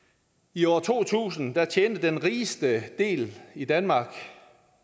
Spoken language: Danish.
i år to tusind tjente den rigeste del i danmark